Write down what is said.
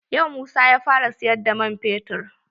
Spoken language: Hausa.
Yau Musa ya fara siyar da man fetur.